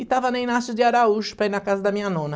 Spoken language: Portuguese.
E estava na Inácio de Araújo, para ir na casa da minha nona.